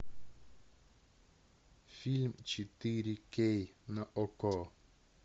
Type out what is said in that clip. фильм четыре кей на окко